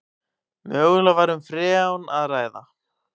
Mögulega var um freon að ræða